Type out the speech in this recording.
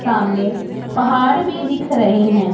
सामने पहाड़ भी दिख रहे हैं।